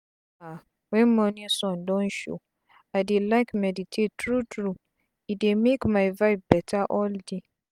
ah wen mornin sun don show i dey like meditate tru tru e dey make my vibe beta all day.